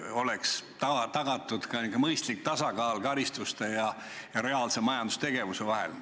Võiks olla tagatud niisugune mõistlik tasakaal karistuste ja reaalse majandustegevuse vahel.